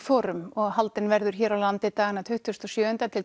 Forum og haldin verður hér á landi dagana tuttugasta og sjöunda til